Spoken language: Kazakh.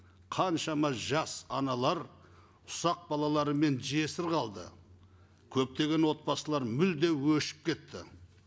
қаншама жас аналар ұсақ балаларымен жесір қалды көптеген отбасылар мүлде өшіп кетті